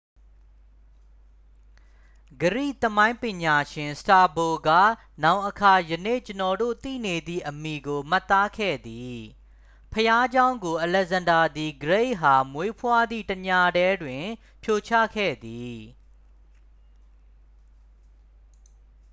ဂရိသမိုင်းပညာရှင် စတာဘို က နောင်အခါ ယနေ့ကျွန်ုပ်တို့ သိနေသည့် အမည်ကို မှတ်သားခဲ့သည် ဘုရားကျောင်းကို အလက်ဇန္ဒားသည်ဂရိတ်အား မွေးဖွားသည့်တစ်ညတည်းတွင် ဖြိုချခဲ့သည်